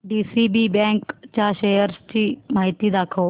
DCB bank च्या shares ची माहिती दाखव